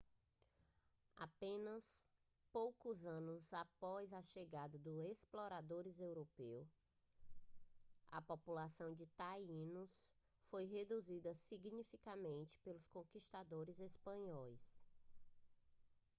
apenas poucos anos após a chegada dos exploradores europeus a população de tainos foi reduzida significativamente pelos conquistadores espanhóis